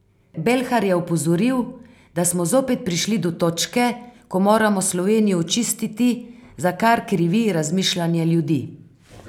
Belhar je opozoril, da smo zopet prišli do točke, ko moramo Slovenijo očistiti, za kar krivi razmišljanje ljudi.